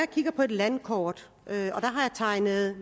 kigger på et landkort hvor jeg har tegnet